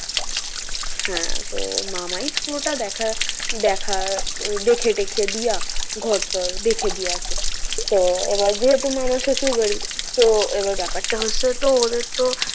হ্যাঁ তো মামাই পুরোটা দেখা দেখা দেখে টেখে দিয়া ঘর টর দেখে দিয়াছে। তো এবার যেহেতু মামা শ্বশুর বাড়ি তো এবার ব্যাপারটা হচ্ছে তো ওদের তো,